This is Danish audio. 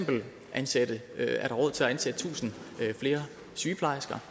ansætte tusind flere sygeplejersker